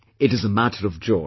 It is a matter of joy